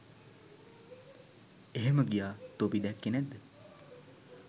එහෙම ගියා තොපි දැක්කේ නැද්ද?